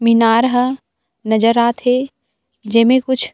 मीनार ह नज़र आत हे जेमे कुछ--